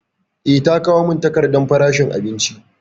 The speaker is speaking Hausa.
Eh, ta kawo mun takardan farashin abinicin